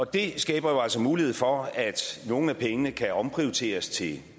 det skaber jo altså mulighed for at nogle af pengene kan omprioriteres til